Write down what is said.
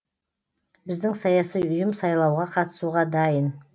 біздің саяси ұйым сайлауға қатысуға дайын